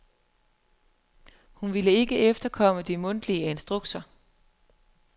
Hun ville ikke efterkomme de mundtlige instrukser